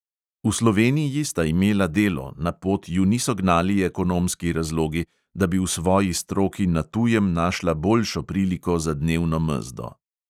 V sloveniji sta imela delo, na pot ju niso gnali ekonomski razlogi, da bi v svoji stroki na tujem našla boljšo priliko za dnevno mezdo.